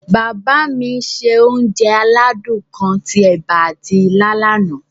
Bàbá mi se onje aládún kan ti ẹ̀ba ati ilá lana.